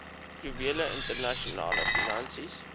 juwele internasionale finansies